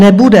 Nebude.